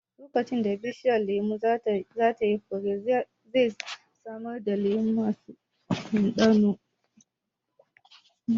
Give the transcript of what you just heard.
Lokacin da bishiyar lemun za ta yi fure, zai samar da lemu masu ɗanɗano